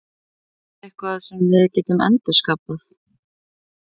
Er þetta eitthvað sem við getum endurskapað?